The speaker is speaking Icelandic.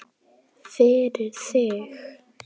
Fyrir þig.